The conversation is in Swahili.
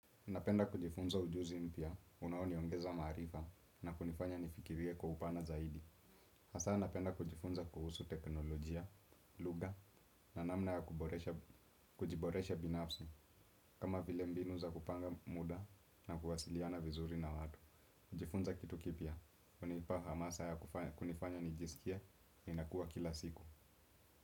Napenda kujifunza ujuzi mpya unaoniongeza maarifa na kunifanya nifikirie kwa upana zaidi hasa napenda kujifunza kuhusu teknolojia, lugha na namna ya kujiboresha binafsi kama vile mbinu za kupanga muda na kuwasiliana vizuri na watu. Kujifunza kitu kipya, hunipa hamasa ya kunifanya nijisikie ninakua kila siku.